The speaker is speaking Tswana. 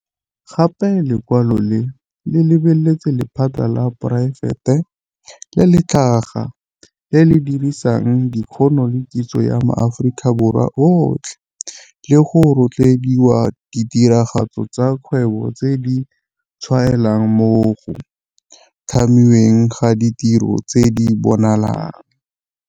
Gape lekwalo le lebeletse 'lephata la poraefete le le tlhaga, le le dirisang dikgono le kitso ya maAforika Borwa otlhe le go rotloediwa ditiragatso tsa kgwebo tse di tshwaelang mo go tlhamiweng ga ditiro tse di bonalang.'